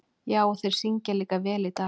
Já, og þeir syngja líka vel í dag.